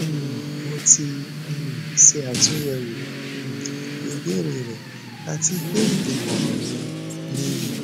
um mo ti um ṣe atunyẹwo um ibeere rẹ ati pe imọran mi niyi